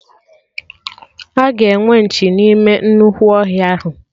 Aga enwe nchi n'ime nnukwu ọhịa ahụ